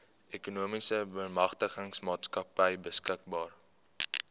ekonomiese bemagtigingsmaatskappy beskikbaar